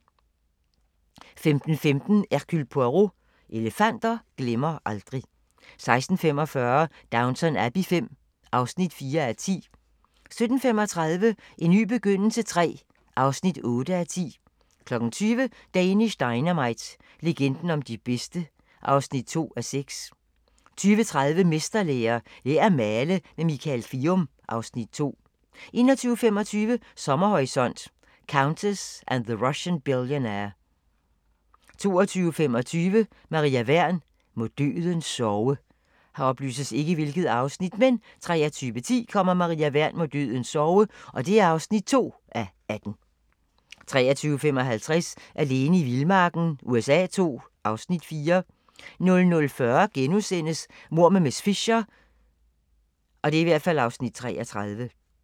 15:15: Hercule Poirot: Elefanter glemmer aldrig 16:45: Downton Abbey V (4:10) 17:35: En ny begyndelse III (8:10) 20:00: Danish Dynamite – legenden om de bedste (2:6) 20:30: Mesterlære - Lær at male med Michael Kvium (Afs. 2) 21:25: Sommerhorisont: Countess and the Russian Billionaire 22:25: Maria Wern: Må døden sove 23:10: Maria Wern: Må døden sove (2:18) 23:55: Alene i vildmarken USA II (Afs. 4) 00:40: Mord med miss Fisher (33:13)*